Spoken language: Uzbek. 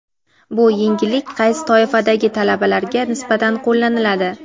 Bu yengillik qaysi toifadagi talabalarga nisbatan qo‘llaniladi?.